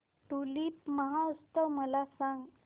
tulip महोत्सव मला सांग